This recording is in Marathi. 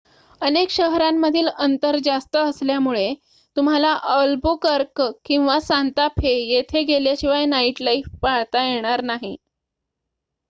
अनेक शहरांमधील अंतर जास्त असल्यामुळे तुम्हाला अल्बुकर्क किंवा सांता फे येथे गेल्याशिवाय नाइट लाइफ पाहता येणार नाही